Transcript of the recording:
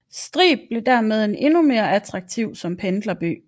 Strib blev dermed endnu mere attraktiv som pendlerby